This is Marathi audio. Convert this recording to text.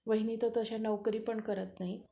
वहिनी तर तश्या नोकरी पण करत नाहीत.